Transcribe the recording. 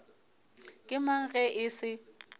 ke mang ge e se